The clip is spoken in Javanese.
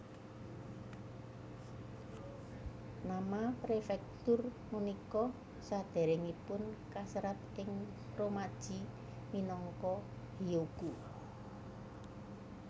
Nama prefektur punika sadèrèngipun kaserat ing romaji minangka Hiogo